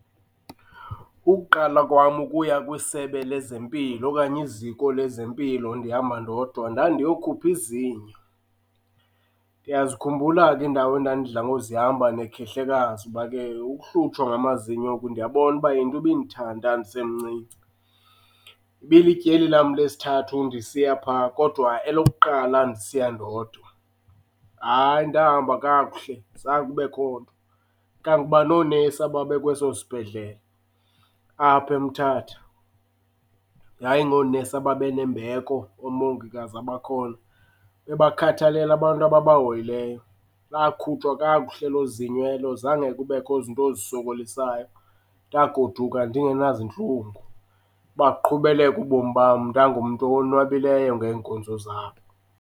Ukuqala kwam ukuya kwisebe lezempilo okanye iziko lezempilo ndihamba ndodwa ndandiyokhuphi zinyo. Ndiyazikhumbula ke iindawu endandidla ngozihamba nekhehlekazi ngoba ke ukuhlutshwa ngamazinyo ndiyabona uba yinto ibindithanda ndisemncinci. Ibilityeli lam lesithathu ndisiya phaa kodwa elokuqala ndisiya ndodwa. Hayi ndahamba kakuhle, zange kubekho nto. Kanguba noonesi ababe kweso sibhedlele, apha eMthatha, yayingoonesi ababe nembeko, oomongikazi abakhoyo, bebakhathalele abantu ababahoyileyo. Lakhutshwa kakuhle elo zinyo elo, zange kubekho zinto zisokolisayo. Ndagoduka ndingenazintlungu, baqhubeleka ubomi bam, ndangumntu owonwabileyo ngeenkonzo zabo.